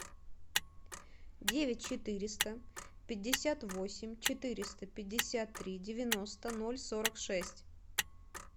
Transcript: девять четыреста пятьдесят восемь четыреста пятьдесят три девяносто ноль сорок шесть